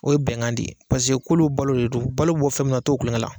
O ye bɛnkan de ye pasek'olu balo de don, olu balo bɛ bɔ fɛn minna k'olu t'o tulonkɛla.